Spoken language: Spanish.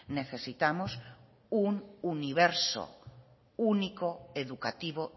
necesitamos un universo único educativo